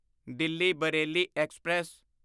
Delhi Bareilly express